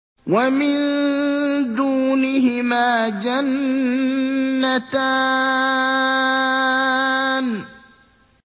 وَمِن دُونِهِمَا جَنَّتَانِ